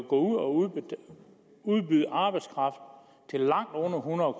gå ud og udbyde arbejdskraft til langt under hundrede